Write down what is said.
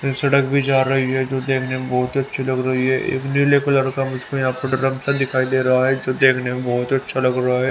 ये सड़क भी जा रहीं हैं जो देखने में बहुत ही अच्छी लग रही है एक नीले कलर का मुझको यहां पे ड्रम सा दिखाई दे रहा है जो देखने में बहुत ही अच्छा लग रहा है।